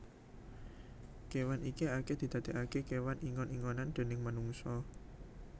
Kewan iki akeh didadeake kewan ingon ingonan déning manungsa